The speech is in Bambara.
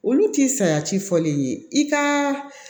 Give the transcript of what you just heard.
Olu ti saya ci fɔlen ye i ka